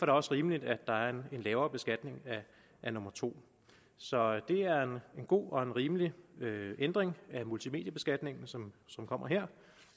det også rimeligt at der er en lavere beskatning af nummer to så det er en god og rimelig ændring af multimediebeskatningen som kommer her